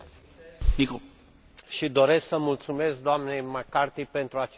Doresc să mulțumesc d nei McCarthy pentru acest raport de inițiativă.